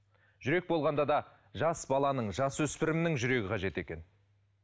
жүрек болғанда да жас баланың жасөспірімнің жүрегі қажет екен